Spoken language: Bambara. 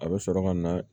A bɛ sɔrɔ ka na